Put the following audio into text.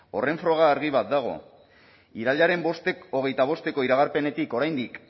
horren froga argi bat dago irailaren hogeita bosteko iragarpenek oraindik